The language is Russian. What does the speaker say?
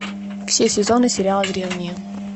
все сезоны сериала древние